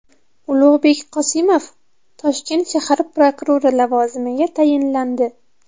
Ulug‘bek Qosimov Toshkent shahar prokurori lavozimiga tayinlandi.